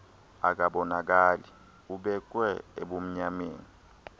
akabonakali ubeekwe ebumnyameni